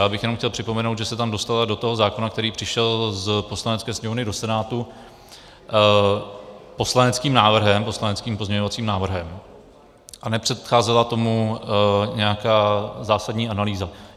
Já bych jenom chtěl připomenout, že se tam dostala, do toho zákona, který přišel z Poslanecké sněmovny do Senátu, poslaneckým pozměňovacím návrhem a nepředcházela tomu nějaká zásadní analýza.